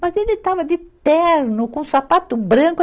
Mas ele estava de terno, com sapato branco.